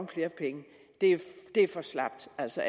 flere penge det er for slapt altså